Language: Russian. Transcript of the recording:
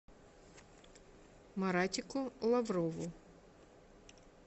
маратику лаврову